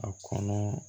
A kɔnɔ